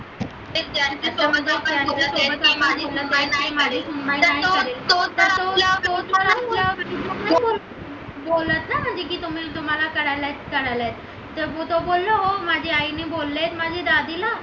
म्हणजे की तुम्ही तुम्हाला करायला येत तर मी तर बोललो हो माझी आईने बोलले माझी दादी ला